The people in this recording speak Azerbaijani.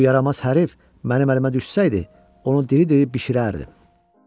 Bu yaramaz hərifi mənim əlimə düşsəydi, onu diri-diri bişirərdim.